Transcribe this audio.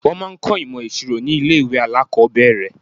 Wọ́n máa ń kọ́ ìmọ̀ ìṣirò ní ilé ìwé alákọ̀ọ́bẹ̀rẹ̀.